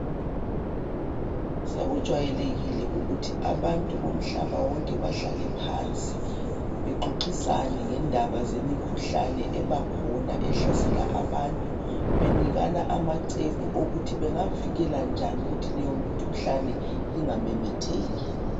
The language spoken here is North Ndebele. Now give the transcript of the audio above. Sokujwayelekile ukuthi abantu bomhlaba wonke bahlale phansi bexoxisane ngendaba zemikhuhlane ebakhona ehlasela abantu benikana amacebo wokuthi leyo mikhuhlane ingamemetheki..